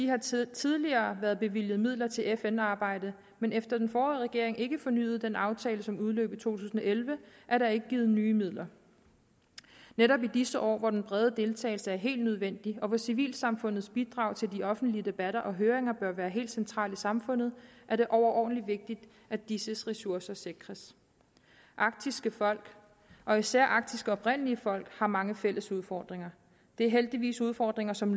har tidligere været bevilget midler til fn arbejde men efter at den forrige regering ikke fornyede den aftale som udløb i to tusind og elleve er der ikke givet nye midler netop i disse år hvor den brede deltagelse er helt nødvendig og hvor civilsamfundets bidrag til de offentlige debatter og høringer bør være helt centralt i samfundet er det overordentlig vigtigt at disses ressourcer sikres arktiske folk og især arktiske oprindelige folk har mange fælles udfordringer det er heldigvis udfordringer som